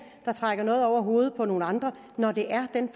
der trækker noget ned over hovedet på nogle andre når det er den